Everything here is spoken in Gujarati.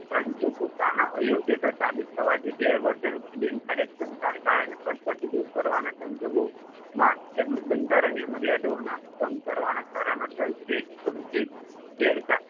પરંતુ પોતાના અયોગ્યતા સાબિત થવાથી ગેરવર્તણુક કે બિન કાર્યક્ષમતાને કારણે પદ પરથી દૂર કરવાના સંજોગોમાં તેમજ બંધારણીય મર્યાદાઓના ભંગ કરવાના કારણોસર તે ગેરકા